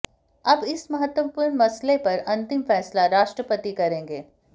अब इस महत्वपूर्ण मसले पर अंतिम फैसला राष्ट्रपति करेंगे